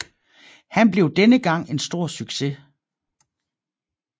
Han blev denne gang en stor succes